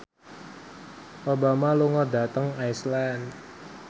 Obama lunga dhateng Iceland